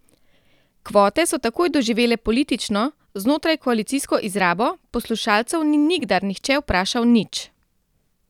Kvote so takoj doživele politično, znotrajkoalicijsko izrabo, poslušalcev ni nikdar nihče vprašal nič.